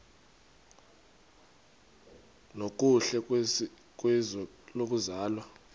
nokuhle kwizwe lokuzalwa